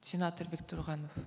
сенатор бектұрғанов